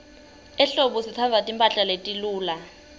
ehlobo sitsandza timphahla letiluca